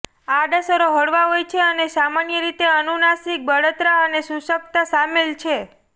આડઅસરો હળવા હોય છે અને સામાન્ય રીતે અનુનાસિક બળતરા અને શુષ્કતા શામેલ છે